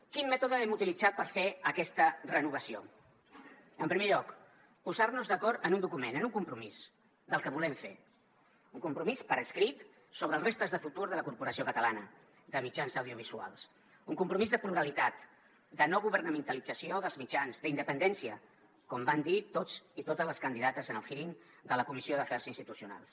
quin mètode hem utilitzat per fer aquesta renovació en primer lloc posar nos d’acord en un document en un compromís del que volem fer un compromís per escrit sobre els reptes de futur de la corporació catalana de mitjans audiovisuals un compromís de pluralitat de no governamentalització dels mitjans d’independència com van dir tots i totes les candidates en el hearingtucionals